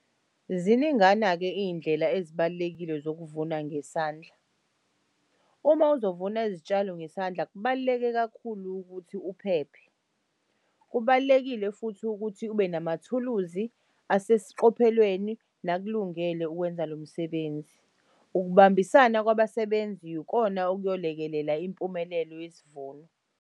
Ziningana-ke iy'ndlela ezibalulekile zokuvuna ngesandla. Uma uzovuna izitshalo ngesandla kubaluleke kakhulu ukuthi uphephe. Kubalulekile futhi ukuthi ube namathuluzi asesiqophelweni nakulungele ukwenza lo msebenzi. Ukubambisana kwabasebenzi yikona okuyolekelela impumelelo yesivuno.